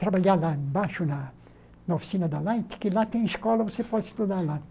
trabalhar lá embaixo na na oficina da Light, que lá tem escola, você pode estudar lá.